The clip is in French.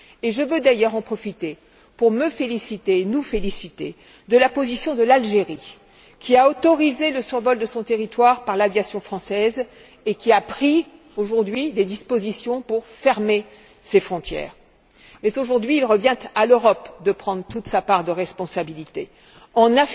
Je veux d'ailleurs en profiter pour me féliciter, nous féliciter, de la position de l'Algérie, qui a autorisé le survol de son territoire par l'aviation française et qui a pris, aujourd'hui, des dispositions pour fermer ses frontières. Mais, aujourd'hui, il revient à l'Europe de prendre toute sa part de responsabilité en